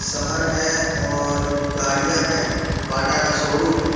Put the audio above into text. शहर है और गाड़ियां है बाटा का शोरूम है।